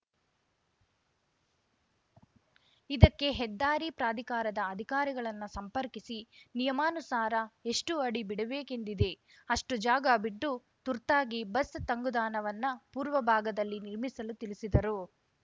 ಇದಕ್ಕೆ ಹೆದ್ದಾರಿ ಪ್ರಾಧಿಕಾರದ ಅಧಿಕಾರಿಗಳನ್ನು ಸಂಪರ್ಕಿಸಿ ನಿಯಮಾನುಸಾರ ಎಷ್ಟುಅಡಿ ಬಿಡಬೇಕೆಂದಿದೆ ಅಷ್ಟುಜಾಗ ಬಿಟ್ಟು ತುರ್ತಾಗಿ ಬಸ್‌ ತಂಗುದಾಣವನ್ನ ಪೂರ್ವಭಾಗದಲ್ಲಿ ನಿರ್ಮಿಸಲು ತಿಳಿಸಿದರು